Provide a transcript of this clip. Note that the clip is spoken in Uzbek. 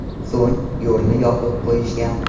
So‘ng yo‘lni yopib qo‘yishgan.